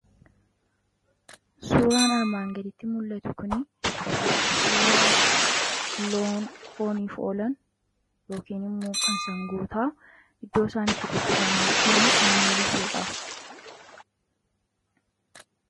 suuraan armaan gaditti mul'atu kun suuraa loon fooniif oolan yookiin immoo kan sangootaa iddoo isaanitti gabbifamaa jiranii kan mul'isuudha.